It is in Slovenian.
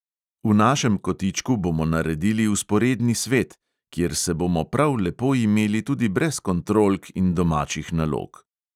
V našem kotičku bomo naredili vzporedni svet, kjer se bomo prav lepo imeli tudi brez kontrolk in domačih nalog.